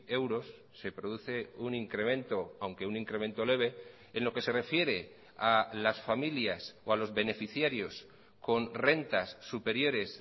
euros se produce un incremento aunque un incremento leve en lo que se refiere a las familias o a los beneficiarios con rentas superiores